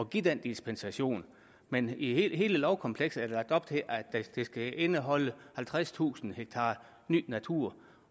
give den dispensation men i hele lovkomplekset er der lagt op til at det skal indeholde halvtredstusind ha ny natur